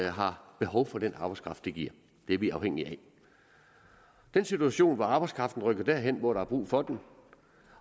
har behov for den arbejdskraft det giver det er vi afhængige af den situation hvor arbejdskraften rykker derhen hvor der er brug for den